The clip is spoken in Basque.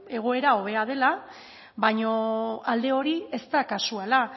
egoera hobea dela baino alde hori ez da kasuala